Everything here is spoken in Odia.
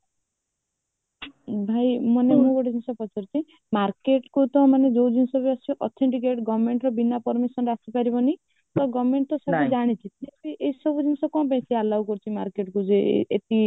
ଭାଇ ମାନେ ଗୋଟେ ଜିନିଷ ପଚାରୁଛି market କୁ ତ ମାନେ ଯୋଉ ଜିନିଷ ସବୁ ଆସୁଛି authenticate governmentର ବିନା permission ରେ ଆସିପରିବନି government ତ ସବୁ ଜାଣିଛି ତଥାପି ଏସବୁ ଜିନିଷ କଣ ପାଇଁ ଏତେ allow କରୁଛି marketକୁ ଯେ